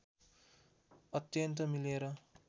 अत्यन्त मिलेर